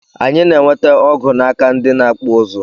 Anyi na enwete ọgụ naka ndi na akpụ ụzụ.